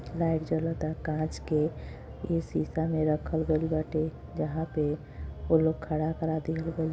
light जलत ता कांच के यह शीशा में रखल गईल बाटे जहां पे वो लोग खड़ा करा दिए